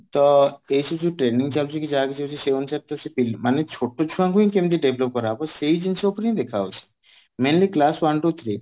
ତ ଏଇଠି ଯୋଉ training ଚାଲୁଛି କି ଯାହା କିଛି ହଉଛି ତ ସେଇ ଅନୁସାରେ ତ ସେ ପିଲା ମାନେ ଛୋଟ ଛୁଆଙ୍କୁ କେମିତି develop କରାହବ ସେଇ ଜିନିଷ ଉପରେ ହିଁ ଦେଖା ଯାଉଛି mainly class one to three